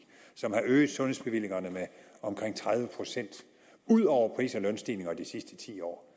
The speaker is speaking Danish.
som har øget sundhedsbevillingerne med omkring tredive procent ud over pris og lønstigningerne de sidste ti år